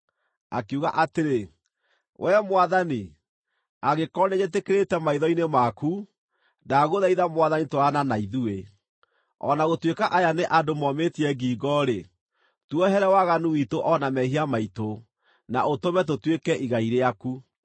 Akiuga atĩrĩ, “Wee Mwathani, angĩkorwo nĩnjĩtĩkĩrĩkĩte maitho-inĩ maku, ndagũthaitha Mwathani twarana na ithuĩ. O na gũtuĩka aya nĩ andũ momĩtie ngingo-rĩ, tuohere waganu witũ o na mehia maitũ, na ũtũme tũtuĩke igai rĩaku.”